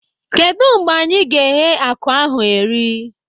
Kedụ mgbe anyị ga-eghe akụ ahụ eri?